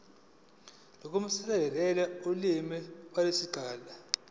nokusetshenziswa kolimi kusezingeni